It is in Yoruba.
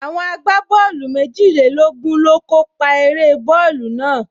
Àwọn agbábọ́ọ̀lù méjìlélógún ló kó pa eré bọ́ọ̀lù náà